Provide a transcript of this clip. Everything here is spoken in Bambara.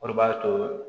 O de b'a to